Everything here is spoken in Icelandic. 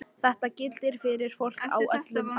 Þetta gildir fyrir fólk á öllum aldri.